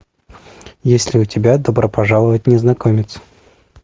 есть ли у тебя добро пожаловать незнакомец